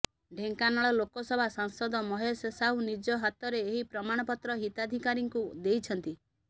ଢେଙ୍କାନାଳ ଲୋକସଭା ସାଂସଦ ମହେଶ ସାହୁ ନିଜ ହାତରେ ଏହି ପ୍ରମାଣପତ୍ର ହିତାଧିକାରୀଙ୍କୁ ଦେଇଛନ୍ତି